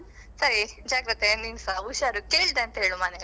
ಸರಿ ಜಾಗೃತೆ ನೀನ್ಸಾ ಹುಷಾರು. ಕೇಳಿದೆ ಅಂತ ಹೇಳು ಮನೆಯಲ್ಲಿ.